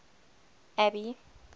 abby